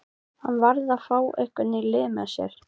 Þar gæti hann fylgst með gleðifregnunum frá meginlandi Evrópu.